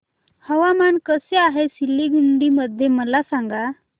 हवामान कसे आहे सिलीगुडी मध्ये मला सांगा